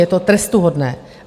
Je to trestuhodné.